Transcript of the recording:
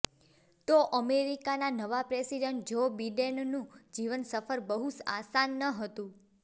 તો અમેરિકાના નવા પ્રેસિડેન્ટ જો બિડેનનું જીવન સફર બહુ આસાન નહતું